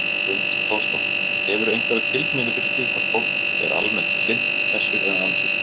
Hrund Þórsdóttir: Hefurðu einhverja tilfinningu fyrir því hvort fólk er almennt hlynnt þessu eða andvígt?